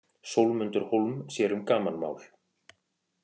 Sólmundur Hólm sér um gamanmál.